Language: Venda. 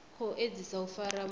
khou edzisa u fara muthu